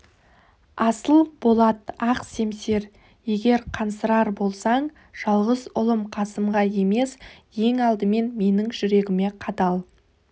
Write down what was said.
асыл болат ақ семсер егер қансырар болсаң жалғыз ұлым қасымға емес ең алдымен менің жүрегіме қадал